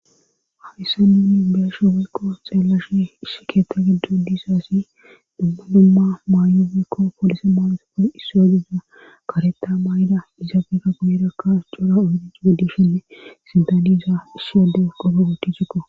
hamissa nunni beesho weekko xeellashi ishi keethta giddo diisaasi dummu dumma maayowikko polise maonosoppel issu a giza kareta maay7ida izaabeka guyerakka cora ohonic geddeshenne sidaniza issi wode goroo ticikko